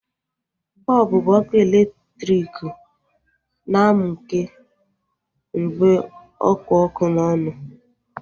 Bọlbụ bụ ọkụ elektriki na-mukee mgbe ọkpụ ọkụ n'ọnụ